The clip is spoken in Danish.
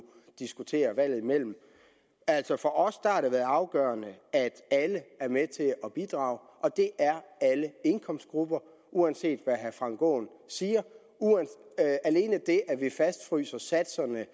diskutere valget imellem altså for os har det været afgørende at alle er med til at bidrage og det er alle indkomstgrupper uanset hvad herre frank aaen siger alene det at vi fastfryser satserne med